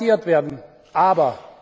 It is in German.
müssen garantiert werden,